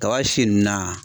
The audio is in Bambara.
Kaba si nunnu na